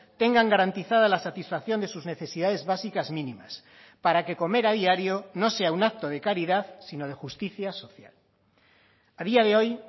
tengan garantizada la satisfacción de sus necesidades básicas mínimas para que comer a diario no sea un acto de caridad sino de justicia social a día de hoy